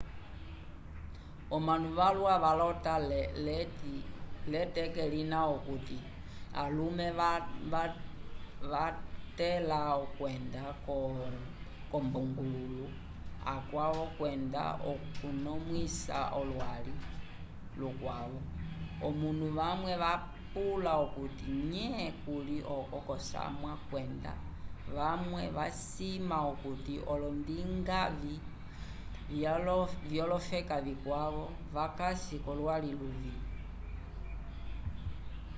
omanu valwa valota l'eteke lina okuti alume vakatẽla okwenda k'olumbungululu akwavo kwenda okukonomwisa olwali lukwavo omanu vamwe vapula okuti nye kuli oko k'osamwa kwenda vamwe vasima okuti olondingavĩ vyolofeka vikwavo vakasi k'olwali lulo